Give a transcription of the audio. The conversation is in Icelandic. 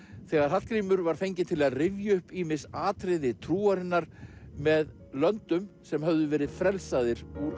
þegar Hallgrímur var fenginn til að rifja upp ýmis atriði trúarinnar með löndum sem höfðu verið frelsaðir úr